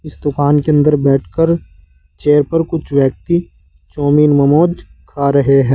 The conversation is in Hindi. इस दुकान के अंदर बैठकर चेयर पर कुछ व्यक्ति चाऊमीन मोमोज खा रहे हैं।